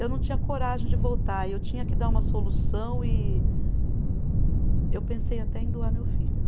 Eu não tinha coragem de voltar, eu tinha que dar uma solução e eu pensei até em doar meu filho.